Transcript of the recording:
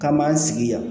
Ka m'an sigi yan